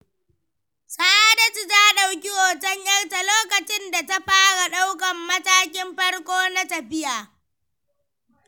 Sa’adatu ta ɗauki hoton ‘yarta lokacin da ta fara ɗaukan matakin farko na tafiya.